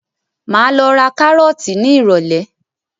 Máa lọ ra kárọ̀tì ní ìrólé